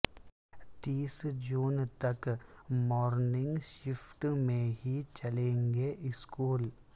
تیس جون تک مورننگ شفٹ میں ہی چلیں گے اسکول